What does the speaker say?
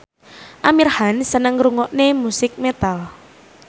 Amir Khan seneng ngrungokne musik metal